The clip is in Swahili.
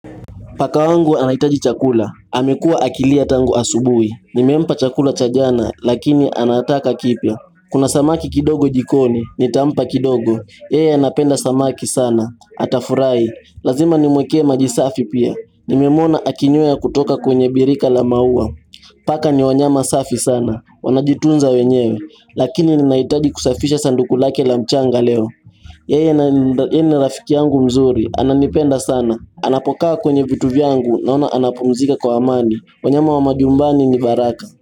Paka wangu anahitaji chakula, amekuwa akilia tangu asubuhi, nimempa chakula cha jana lakini anataka kipya Kuna samaki kidogo jikoni, nitampa kidogo, yeye anapenda samaki sana, atafurahi Lazima nimwekee majisafi pia, nimemona akinywea kutoka kwenye birika la maua Paka ni wanyama safi sana, wanajitunza wenyewe, lakini ninahitaji kusafisha sanduku lake la mchanga leo Yeye ni rafiki yangu mzuri, ananipenda sana, anapokaa kwenye vitu vyangu na ona anapumzika kwa amani, wanyama wa majumbani ni baraka.